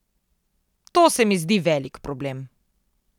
To se mi zdi velik problem.